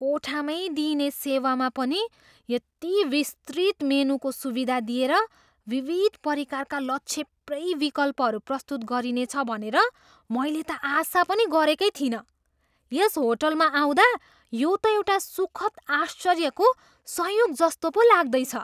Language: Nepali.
कोठा मै दिइने सेवामा पनि यति विस्तृत मेनुको सुविधा दिएर विविध परिकारका लछेप्रै विकल्पहरू प्रस्तुत गरिनेछ भनेर मैले त आशा पनि गरेकै थिइनँ। यस होटलमा आउँदा यो त एउटा सुखद आश्चर्यको संयोग जस्तो पो लाग्दैछ।